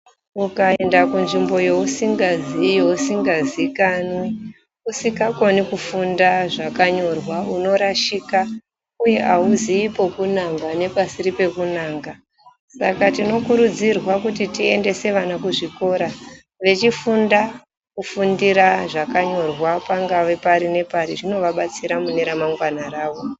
Ukaenda kunzvimbo yeusingaziyi, yeusingazikanwi, usikakoni kufunda zvakanyorwa unorashika uye hauziyi pekunanga nepasiri pekunanga. Saka tinokurudzirwa kuti tiendese vana kuzvikora vechifunda kufundira zvakanyorwa pangawe pari nepari, zvinovabatsira mune ramangwana ravo.